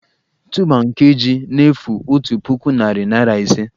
Tuuba nke ji na-efu otu puku, narị naịra ise